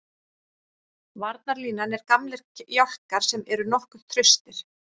Varnarlínan er gamlir jálkar sem eru nokkuð traustir.